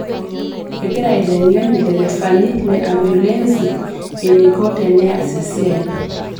Egirai aiteng'en lderefani le ambulensi eneiko teneas esia